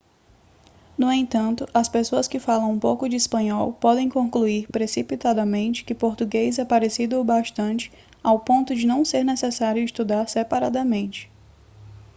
no entanto as pessoas que falam um pouco de espanhol podem concluir precipitadamente que português é parecido o bastante ao ponto de não ser necessário estudar separadamente